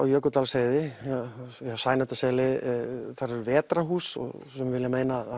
Jökuldalsheiði Sæmundarseli þar eru Vetrarhús og sumir vilja meina að